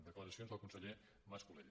declaracions del conseller mas colell